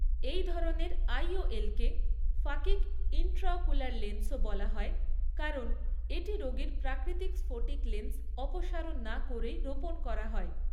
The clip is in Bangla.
এই ধরনের আইওএলকে ফাকিক ইন্ট্রাওকুলার লেন্সও বলা হয়, কারণ এটি রোগীর প্রাকৃতিক স্ফটিক লেন্স অপসারণ না করেই রোপণ করা হয়।